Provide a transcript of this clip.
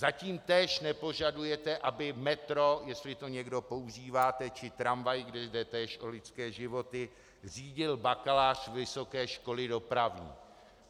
Zatím též nepožadujete, aby metro, jestli to někdo používáte, či tramvaj, kde jde též o lidské životy, řídil bakalář vysoké školy dopravní.